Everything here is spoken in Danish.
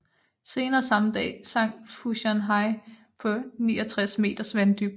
Senere samme dag sank Fu Shan Hai på 69 meters vanddybde